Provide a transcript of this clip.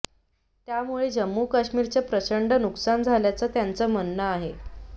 यामुळे जम्मू कश्मीरचं प्रचंड नुकसान झाल्याचं त्यांचं म्हणणं आहे